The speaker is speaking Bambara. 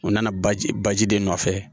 U nana baji baji de nɔfɛ